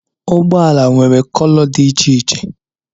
ụgbọ ala nwere kolò dị iche iche